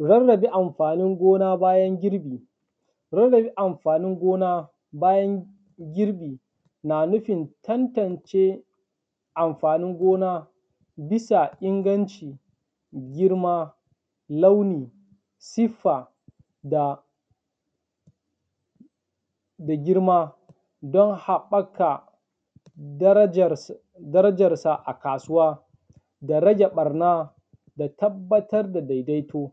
Rarrabe amfanin gona bayan girbi. Rarrabe amfanin gona bayan girbi na nufin tantance amfanin gona bisa inganci, girma, launi, siffa da girma don haɓaka darajarsa a kasuwa da rage ɓarna da tabbatar da daidaito.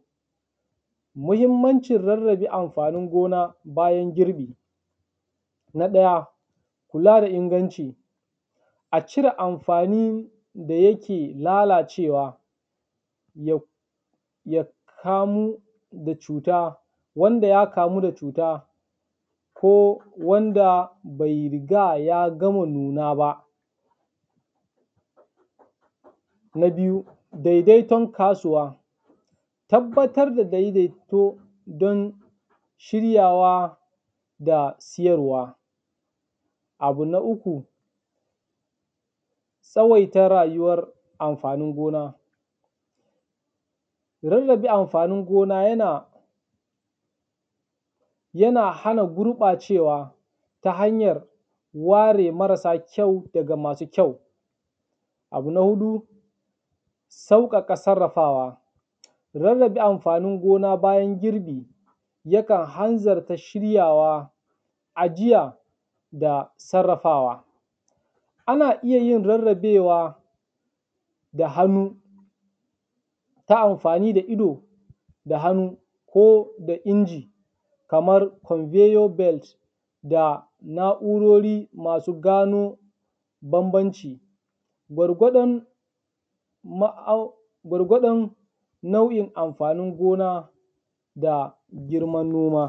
Muhimmancin rarrabe amfanin gona bayan girbi; na ɗaya, kula da inganci; a cire amfani da yake lalacewa ya ya kamu da cuta, wanda ya kamu da cuta, ko wanda bai riga ya gama nuna ba. Na biyu, daidaiton kasuwa: Tabbatar da daidaito don shiryawa da siyarwa. Abu na uku, tsawaita rayuwar amfanin gona: Rarrabe amfanin gona yana yana hana gurɓacewa ta hanyar ware marasa kyau daga masu kyau. Abu na huɗu, sauƙaƙa sarrafawa: Rarrabe amfanin gona bayan girbi yakan hanzarta shiryawa, ajiya da sarrafawa. Ana iya rarrabewa da hannu ta amfani da ido da hannu ko da inji kamar conveyor belt da na’urori masu gano bambanci gwargwadon ma’au, gwargwadon nau’in amfanin gona da girman noma.